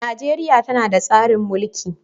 Najeriya tana da tsarin mulki.